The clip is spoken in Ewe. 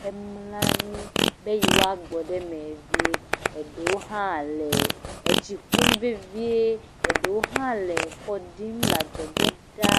hemlɔ anyi be yewoa gbɔ ɖe eme vie. Eɖewo hã le etsi ƒum vevie, eɖewo hã le kɔ ɖim le adzɔge ɖa.